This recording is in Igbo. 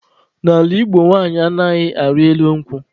N'ala Igbo nwanyị anaghị arị elu nkwụ.